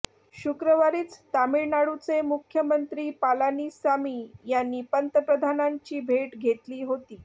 शुक्रवारीच तामिळनाडूचे मुख्यमंत्री पलानीसामी यांनी पंतप्रधानांची भेट घेतली होती